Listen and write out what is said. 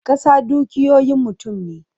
Kasa dukiyoyin mutum ne.